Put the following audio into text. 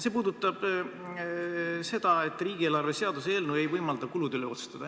See puudutab seda, et riigieelarve seaduse eelnõu ei võimalda kulude üle otsustada.